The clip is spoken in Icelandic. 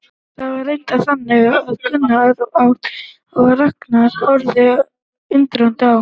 Það var reyndar þannig að Gunnar át og Ragnar horfði undrandi á.